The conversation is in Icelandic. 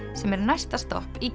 sem er næsta stopp í